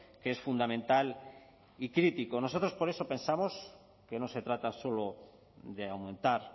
que es fundamental y crítico nosotros por eso pensamos que no se trata solo de aumentar